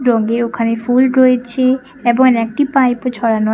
রঙে ওখানে ফুল রয়েছে এবং একটি পাইপ -ও ছড়ানো আ--